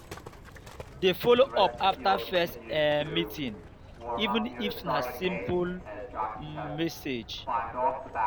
dey follow up after first um meeting even if na simple um message